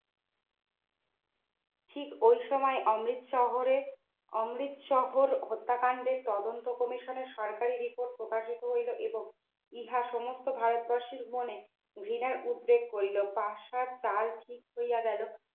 ঠিক ওই সময়ে অমৃত শহরে অমৃত শহর হত্যাকাণ্ডে তদন্ত Commission র সরকারি report প্রকাশিত হইল এবং ইহা সমস্ত ভারতবাসীর মনে ঘৃণার উদ্যোগ হইল পাশার কাল ঠিক হইয়া গেল